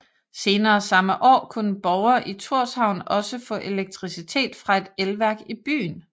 Senere samme år kunne borgere i Thorshavn også få elektricitet fra et elværk i byen